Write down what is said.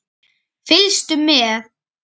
Fylgstu með!